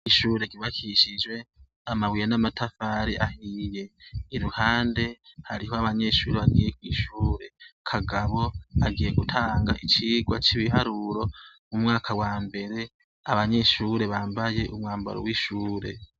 Ishure ryubakishijwe amabuye n'amatafari ahiye; iruhande hariho abanyeshuri bagiye kw' ishure. Kagabo agiye gutanga icigwa cy'ibiharuro mu mwaka wa mbere. Abanyeshure bambaye umwambaro w'ishure.